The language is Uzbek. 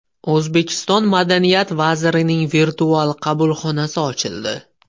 O‘zbekiston madaniyat vazirining virtual qabulxonasi ochildi.